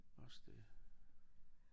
Også det